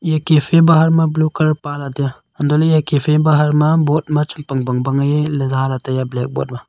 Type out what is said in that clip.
iya cafe bahar ma blue colour pale tai aa untoley cafe bahar ma boad chem pang pang bang ei za lah tai aa black boad ma.